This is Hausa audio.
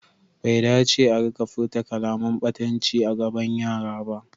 Bai dace a rika furta kalaman ɓatanci a gaban yara ba.